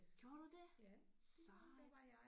Gjorde du det? Sejt